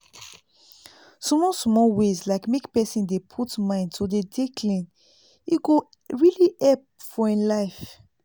small small ways like make pesin dey put mind to dey dey clean e go really help for him life